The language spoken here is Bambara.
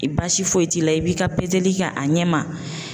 I baasi foyi t'i la i b'i ka pezeli kɛ a ɲɛ ma